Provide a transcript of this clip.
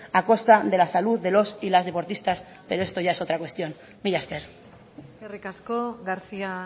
a costa de la salud de los y las deportistas pero esto ya es otra cuestión mila esker eskerrik asko garcía